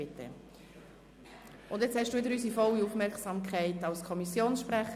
Grossrat Ueli Frutiger, Sie haben wieder unsere volle Aufmerksamkeit als Kommissionssprecher.